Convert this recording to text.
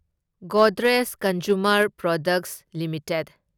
Godrej consumer products limited